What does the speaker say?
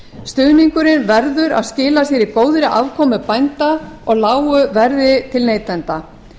stuðningurinn verður að skila sér í góðri afkomu bænda á lágu verði til neytenda